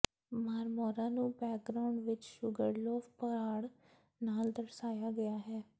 Marmara ਨੂੰ background ਵਿਚ Sugarloaf ਪਹਾੜ ਨਾਲ ਦਰਸਾਇਆ ਗਿਆ ਹੈ